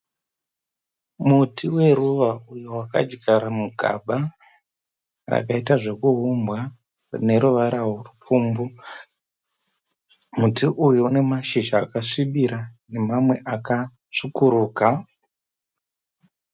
Muti weruva uyo wakadyarwa mugaba. Rakaita zvekuumbwa rine ruvara rwe pfumbu. Muti uyu une mashizha akasvibira nemamwe akatsvukuruka.